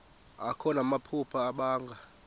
akho namaphupha abanga